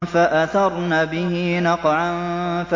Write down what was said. فَأَثَرْنَ بِهِ نَقْعًا